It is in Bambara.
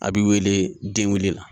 A b'i wele denkunli la.